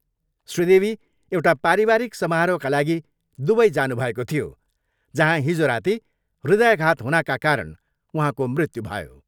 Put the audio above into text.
श्री देवी एउटा पारिवारिक समारोहका लागि दुबई जानुभएको थियो, जहाँ हिजो राति हृदयाघात हुनाका कारण उहाँको मृत्यु भयो।